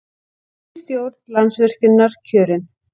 Ný stjórn Landsvirkjunar kjörin